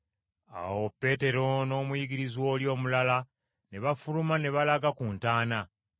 Awo Peetero n’omuyigirizwa oli omulala ne bafuluma ne balaga ku ntaana.